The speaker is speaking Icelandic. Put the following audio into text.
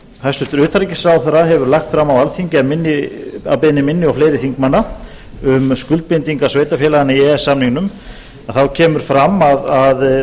hæstvirtur utanríkisráðherra hefur lagt fram á alþingi að beiðni minni og fleiri þingmanna um skuldbindingar sveitarfélaganna í e e s samningnum þá kemur fram að það